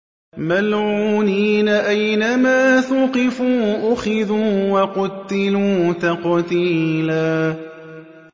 مَّلْعُونِينَ ۖ أَيْنَمَا ثُقِفُوا أُخِذُوا وَقُتِّلُوا تَقْتِيلًا